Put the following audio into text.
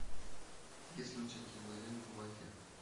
есть ли у тебя кинолента мафия